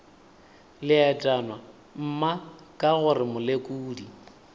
leetwana mma ka gore molekodi